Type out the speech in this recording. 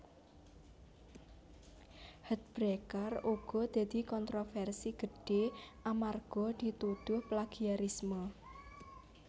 Heartbreaker uga dadi kontroversi gedhé amarga ditudhuh plagiarisme